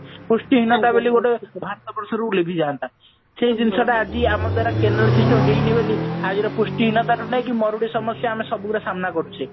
ପୃଷ୍ଟି ହୀନତା ବୋଲି ଗୋଟେ ଭାରତ ବର୍ଷରୁ ଲିଭିଯାନ୍ତା ସେଇ ଜିନିଷ ଟା ଆଜି ଆମ ଦ୍ଵାରା canal system ଟା ହେଇନି ବୋଲି ଆଦ୍ୱାରା ପୃଷ୍ଟି ହୀନତା ରୁ ନେଇକି ମରୁଡି ସମସ୍ଯା ଆମେ ସବୁର ସାମ୍ନା କରୁଛେ